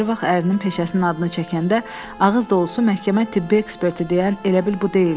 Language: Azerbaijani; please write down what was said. Ayrı vaxt ərinin peşəsinin adını çəkəndə ağız dolusu məhkəmə tibbi eksperti deyan elə bil bu deyildi.